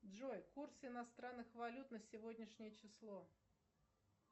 джой курс иностранных валют на сегодняшнее число